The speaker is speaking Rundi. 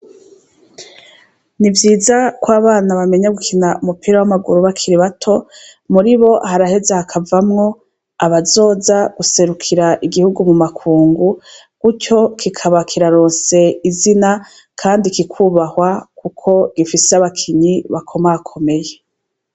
Nivyiza kw'abana bamenya gukina umupira w'amaguru, bakiri bato muribo baraheza hakavamwo abazoza guserukira igihugu mumakungu, gutyo kikaba kiraronse izina kandi kikubahwa kuko gifise abakinyi bakomakomeye.